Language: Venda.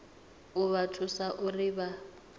u vha thusa uri vha